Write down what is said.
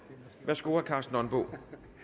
værsgo herre karsten nonbo